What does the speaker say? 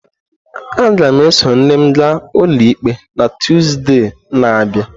Aga m eso nne m gaa ụlọikpe na Tuzdee na-abịa.